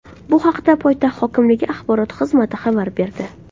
Bu haqda poytaxt hokimligi axborot xizmati xabar berdi .